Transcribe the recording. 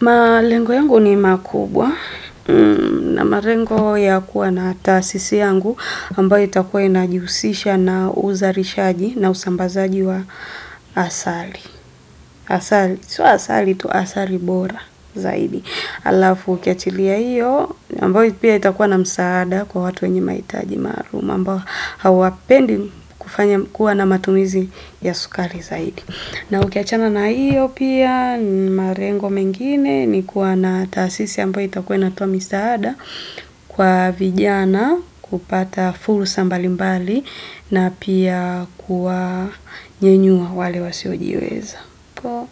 Malengo yangu ni makubwa na malengo ya kuwa na taasisi yangu ambayo itakuwa inajiusisha na uzalinshaji na usambazaji wa asali. Asali, sio asali tu asali bora zaidi. Alafu ukiachilia iyo ambayo itakuwa na msaada kwa watu wenye mahitaji maalum ambao hawapendi kufanya kuwa na matumizi ya sukari zaidi. Na ukiachana na iyo pia, malengo mengine ni kuwa na taasisi ambayo itakuwa inatoa misada kwa vijana kupata fulsal mbalimbali na pia kuwa nyenyua wale wasiojiweza. Kwa